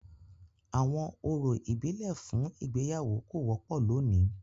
Awọn orȯ ibile fun igbeyawo ko wọpọ loni.